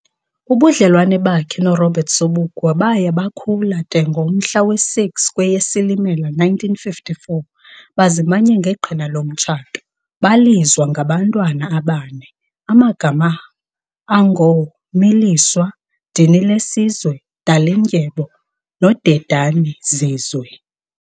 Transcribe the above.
Ubudlelwane bakhe no Robert Sobukwe baya bukhula de ngomhla wesi 6 kweyeSilimela 1954 bazimanya ngeqhina lomtshato, balizwa ngabantwana abane amagama ango Miliswa, Dinilesizwe, Dalindyebo no Dedanizizwe.